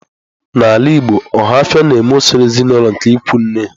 N'ala Igbo, ohafia na-eme usoro ezinaụlọ nke ikwu nne.